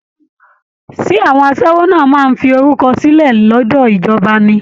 Ṣé àwọn aṣẹ́wó náà máa ń fi orúkọ sílẹ̀ lọ́dọ̀ ìjọba ni!